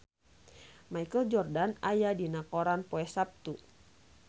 Michael Jordan aya dina koran poe Saptu